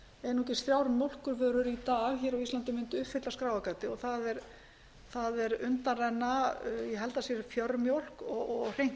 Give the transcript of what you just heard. einungis þrjár mjólkurvörur í dag á íslandi mundu uppfylla skráargatið það er undanrenna ég held að það sé fjörmjólk og hreint